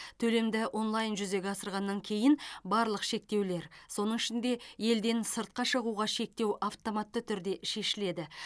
төлемді онлайн жүзеге асырғаннан кейін барлық шектеулер соның ішінде елден сыртқа шығуға шектеу автоматты түрде шешіледі